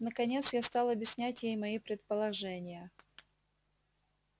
наконец я стал объяснять ей мои предположения